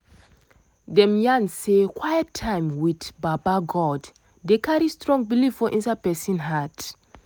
dem yarn say quite time with baba god dey carry strong belive for inside person heart.